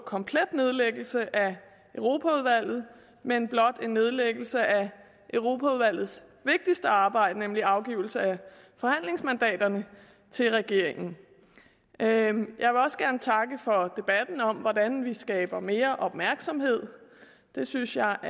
komplet nedlæggelse af europaudvalget men blot en nedlæggelse af europaudvalgets vigtigste arbejde nemlig afgivelse af forhandlingsmandaterne til regeringen jeg vil også gerne takke for debatten om hvordan vi skaber mere opmærksomhed det synes jeg er